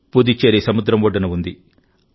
పుదుచ్చేరి సముద్రం ఒడ్డున ఉంది